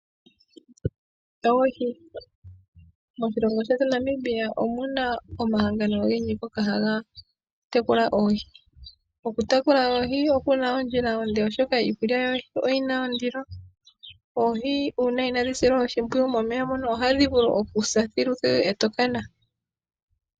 Oohi. Moshilongo shetu Namibia omuna omahangano ogendji ngoka haga tekula oohi. Okutekela oohi okuna ondjila onde, oshoka iikulya oyina ondilo . Oohi uuna inaadhi silwa oshimpwiyu momeya moka ohadhi vulu okusa thiluthilu eto kana.